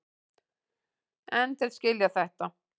En þeir skilja þetta.